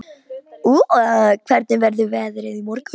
Úa, hvernig verður veðrið á morgun?